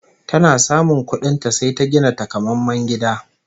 Tana samun kuɗin ta, sai ta gina tanƙamemen gida